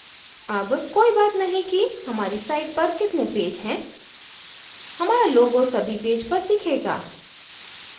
अब कोई बात नहीं कि हमारी site पर कितने पेज हैं हमारा logo सभी पेज पर दिखेगा